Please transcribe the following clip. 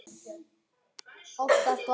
Hvaða massa túrismi er þetta?